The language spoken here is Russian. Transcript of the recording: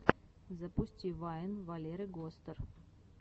запусти вайн валеры гостер